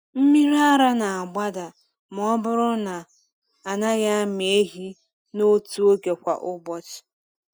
Mmiri ara na-agbada ma ọ bụrụ na a naghị amị ehi n’otu oge kwa ụbọchị.